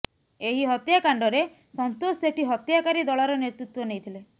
ଏହି ହତ୍ୟାକାଣ୍ଡରେ ସନ୍ତୋଷ ସେଠୀ ହତ୍ୟାକାରୀ ଦଳର ନେତୃତ୍ୱ ନେଇଥିଲେ